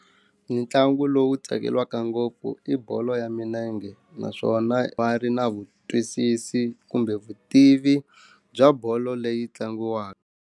Mintlangu lowu tsakelaka ngopfu i bolo ya minenge naswona va ri na vutwisisi kumbe vutivi bya bolo leyi tlangiwaka.